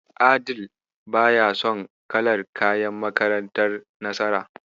Adeel baya son kalar kayan makantar Nasara.